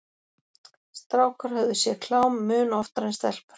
Strákar höfðu séð klám mun oftar en stelpur.